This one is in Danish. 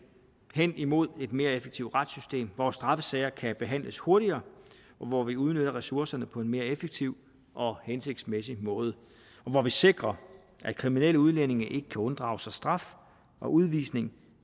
hen imod et mere effektivt retssystem hvor straffesager kan behandles hurtigere og hvor vi udnytter ressourcerne på en mere effektiv og hensigtsmæssig måde og hvor vi sikrer at kriminelle udlændinge ikke kan unddrage sig straf og udvisning